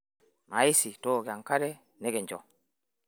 Naisi tooko enkare nekincho